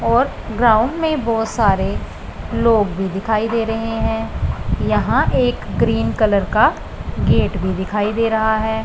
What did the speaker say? और ग्राउंड में बहोत सारे लोग भी दिखाई दे रहे हैं यहां एक ग्रीन कलर का गेट भी दिखाई दे रहा है।